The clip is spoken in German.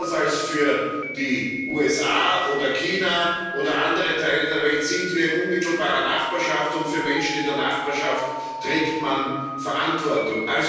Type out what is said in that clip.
Anders als die USA oder China oder andere Teile der Welt sind wir in unmittelbarer Nachbarschaft, und für Menschen in der Nachbarschaft trägt man Verantwortung.